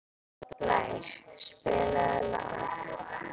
Blær, spilaðu lag.